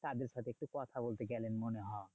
তাদের সাথে একটু কথা বলতে গেলেন মনে হয়।